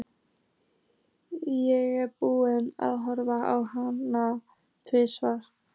Ég er búinn að horfa á hana tvisvar.